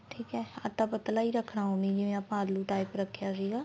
ਠੀਕ ਏ ਆਟਾ ਪਤਲਾ ਈ ਰੱਖਣਾ ਜਿਵੇਂ ਆਪਾਂ ਆਲੂ type ਰੱਖਿਆ ਸੀਗਾ